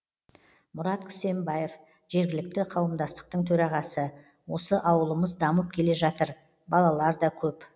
мұрат кісембаев жергілікті қауымдастықтың төрағасы осы ауылымыз дамып келе жатыр балалар да көп